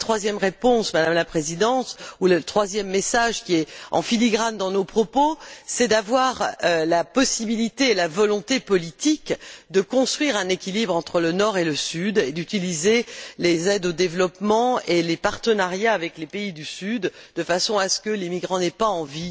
Enfin, la troisième réponse, Madame la Présidente, ou le troisième message qui est en filigrane dans nos propos, c'est d'avoir la possibilité et la volonté politique de construire un équilibre entre le Nord et le Sud et d'utiliser les aides au développement et les partenariats avec les pays du Sud de façon à ce que les migrants n'aient pas envie de venir dans un eldorado qui n'en